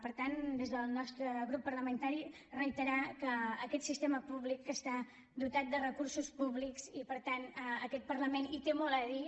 per tant des del nostre grup parlamentari reiterar que aquest sistema públic que està dotat de recursos públics i per tant aquest parlament hi té molt a dir